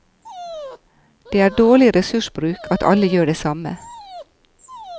Det er dårlig ressursbruk at alle gjør det samme.